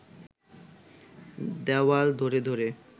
দেওয়াল ধরে ধরে